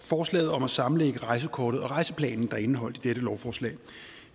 forslaget om at sammenlægge rejsekortet og rejseplanen der er indeholdt i dette lovforslag